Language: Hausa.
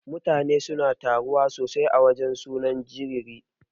Mutane suna taruwa sosai a wajan sunan jariri.